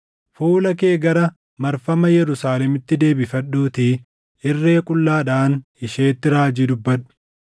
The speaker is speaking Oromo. Fuula kee gara marfama Yerusaalemitti deebifadhuutii irree qullaadhaan isheetti raajii dubbadhu.